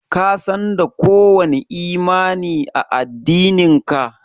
Ka San da ko wani imani a. addinin ka?